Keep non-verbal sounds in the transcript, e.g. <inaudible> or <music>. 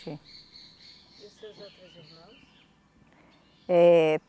<unintelligible> E os seus outros irmãos? Eh